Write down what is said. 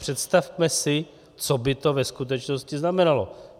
Představme si, co by to ve skutečnosti znamenalo.